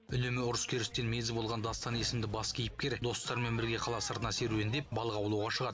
үнемі ұрыс керістен мезі болған дастан есімді бас кейіпкер достарымен бірге қала сыртына серуендеп балық аулауға шығады